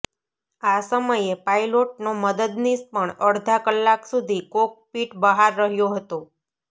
આ સમયે પાયલોટનો મદદનીશ પણ અડધા કલાક સુધી કોકપિટ બહાર રહ્યો હતો